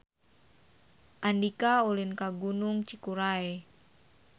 Andika ulin ka Gunung Cikuray